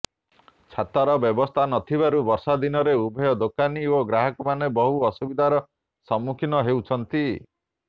ଛାତର ବ୍ୟବସ୍ଥା ନଥିବାରୁ ବର୍ଷା ଦିନରେ ଉଭୟ ଦୋକାନୀ ଓ ଗ୍ରାହକମାନେ ବହୁ ଅସୁବିଧାର ସମ୍ମୁଖୀନ ହେଉଛନ୍ତି